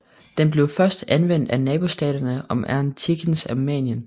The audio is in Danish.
Den blev først anvendt af nabostaterne om antikkens Armenien